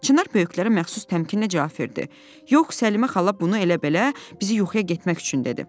Çinar böyüklərə məxsus təmkinlə cavab verdi: "Yox, Səlimə xala bunu elə-belə bizi yuxuya getmək üçün dedi."